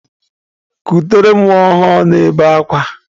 Kutere m nwa ọhụrụ m na-ebe akwa!